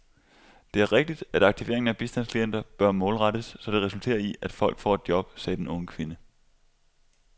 Det er rigtigt, at aktiveringen af bistandsklienter bør målrettes, så det resulterer i, at folk får et job, sagde den unge kvinde.